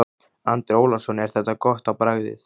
Andri Ólafsson: Er þetta gott á bragðið?